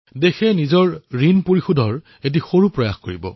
দেশে নিজৰ ঋণ পৰিশোধ কৰাৰ বাবে এক সামান্য প্ৰয়াস কৰিব